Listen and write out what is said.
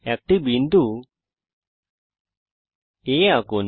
একটি বিন্দু A আঁকুন